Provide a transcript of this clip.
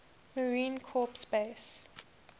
marine corps base